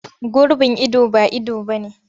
Gurbin ido ba ido ba ne.